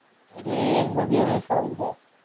એટલે એમનું બેવ નું સારું છે.